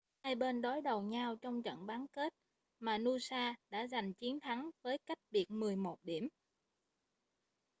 hai bên đối đầu nhau trong trận bán kết mà noosa đã giành chiến thắng với cách biệt 11 điểm